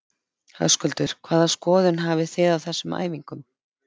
Höskuldur: Hvaða skoðun hafi þið á þessum æfingum?